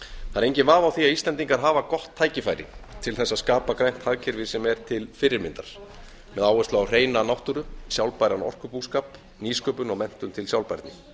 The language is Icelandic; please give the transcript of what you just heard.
það er enginn vafi á því að íslendingar hafa gott tækifæri til þess að skapa grænt hagkerfi sem er til fyrirmyndar með áherslu á hreina náttúru sjálfbæran orkubúskap nýsköpun og menntun til sjálfbærni